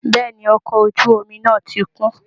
Bẹ́ẹ̀ ni, ọkọ̀ ojú omi náà ti kún